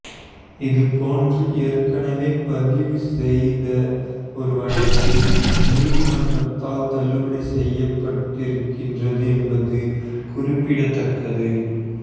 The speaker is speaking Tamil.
இதுபோன்று ஏற்கனவே பதிவு செய்த ஒரு வழக்கு நீதிமன்றத்தால் தள்ளுபடி செய்யப்பட்டிருக்கின்றது என்பது குறிப்பிடத்தக்கது